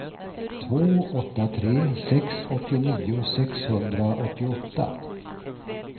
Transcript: två åtta tre sex åttionio sexhundraåttioåtta